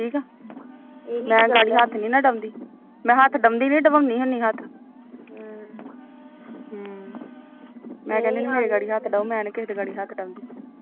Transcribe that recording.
ਮੈਂ ਹੱਥ ਅਡਾਦੀ ਨੀ ਡਵਾਉਂਦੀ ਹੁੰਦੀ ਹੱਥ ਮੈਂ ਕਹਿੰਦੀ ਮੇਰੇ ਅੱਗ ਅਡੋ ਹੱਥ ਮੈਂ ਨੀ ਕਿਸੇ ਅੱਗੇ ਹੱਥ ਡਾਉਦਾ